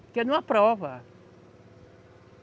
Porque não aprova.